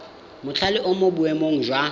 mothale o mo boemong jwa